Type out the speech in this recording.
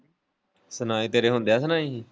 ਸੁਣਾਈ ਤੇਰੇ ਹੁੰਦਿਆਂ ਸੁਣਾਈ ਹੀ?